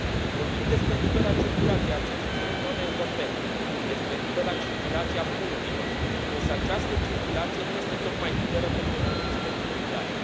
Vorbim despre libera circulație a cetățenilor europeni, despre libera circulație a bunurilor, însă această circulație nu este tocmai liberă pentru români și pentru bulgari.